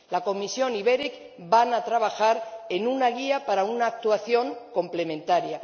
La Comisión y el ORECE van a trabajar en una guía para una actuación complementaria.